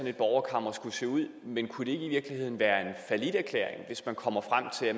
et borgerkammer skulle se ud men kunne det ikke i virkeligheden være en falliterklæring hvis man kommer frem til at